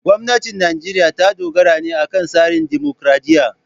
Gwamnatin Najeriya ta dogara ne akan tsarin dimokuradiyya.